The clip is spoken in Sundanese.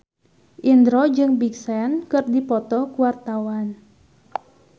Indro jeung Big Sean keur dipoto ku wartawan